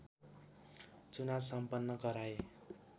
चुनाव सम्पन्न गराए